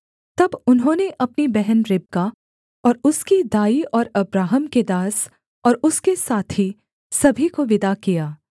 तब उन्होंने अपनी बहन रिबका और उसकी दाई और अब्राहम के दास और उसके साथी सभी को विदा किया